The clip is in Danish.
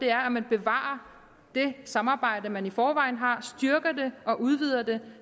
er at man bevarer det samarbejde man i forvejen har og styrker det og udvider det